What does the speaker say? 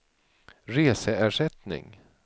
reseersättning